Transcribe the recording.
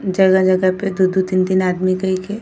जगह जगह पे दू दू तीन-तीन आदमी कई के --